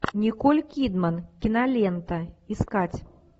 николь кидман кинолента искать